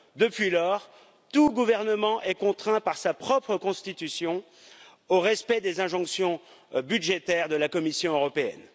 Depuis lors, tout gouvernement est contraint par sa propre constitution au respect des injonctions budgétaires de la Commission européenne.